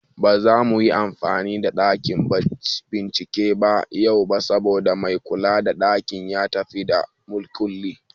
Ba zamu yi amfani da ɗakin bincike ba yau, saboda mai kula da ɗakin ya tafi da makulli